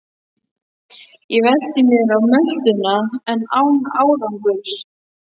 Ég velti mér á meltuna en án árangurs.